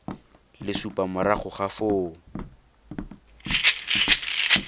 le supa morago ga foo